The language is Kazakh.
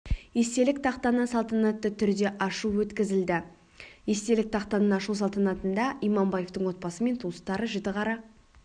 естелік тақтаны салтанатты түрде ашу өткізілді естелік тақтаның ашылу салтанатында иманбаевтың отбасы мен туыстары жітіқара